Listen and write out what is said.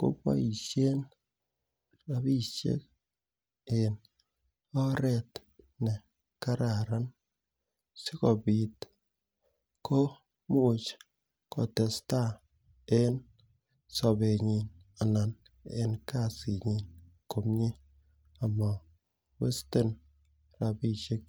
kopaishen rapishek en oret ne kararan asikopit komuch kotestai en sapenyin anan en asitnyin komye amawesten rapishek.